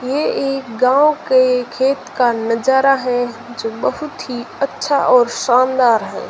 ये एक गांव के खेत का नजारा हैं जो बहुत ही अच्छा और शानदार हैं।